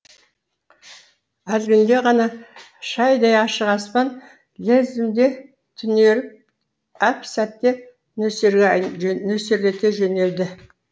әлгінде ғана шайдай ашық аспан лезімде түнеріп әп сәтте нөсерлете жөнелді